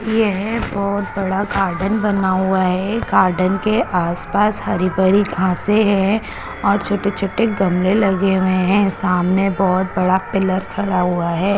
येह बोहोत बड़ा गार्डन बना हुआ है गार्डन के आस पास हरी भरी घासे है और छोटे छोटे गमले लगे हुए है सामने बहुत बड़ा पिलर खड़ा हुआ है।